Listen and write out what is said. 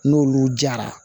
N'olu jara